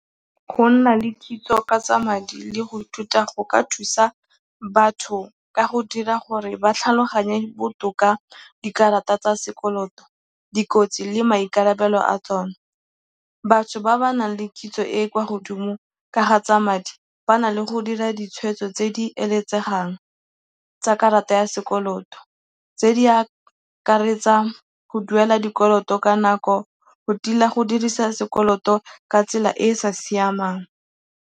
Go nna le kitso ka tsa madi le go ithuta go ka thusa batho ka go dira gore ba tlhaloganye botoka dikarata tsa sekoloto, dikotsi le maikarabelo a tsone. Batho ba ba nang le kitso e e kwa godimo ka ga tsa madi ba na le go dira ditshweetso tse di eletsegang tsa karata ya sekoloto, tse di akaretsa go duela dikoloto ka nako, go tila go dirisa sekoloto ka tsela e e sa siamang.